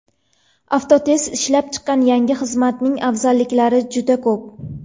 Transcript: Avtotest ishlab chiqqan yangi xizmatning afzalliklari juda ko‘p.